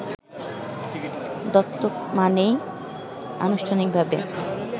দত্তক মানেই আনুষ্ঠানিকভাবে